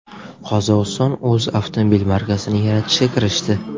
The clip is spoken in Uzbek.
Qozog‘iston o‘z avtomobil markasini yaratishga kirishdi.